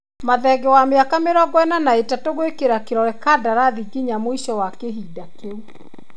Mathenge wa mĩaka mĩrongo ĩna na ĩtatũ gũĩkĩra kĩrore kandarathi nginya mũico wa kĩhinda kĩu.